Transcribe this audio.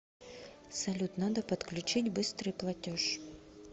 салют надо подключить быстрый платеж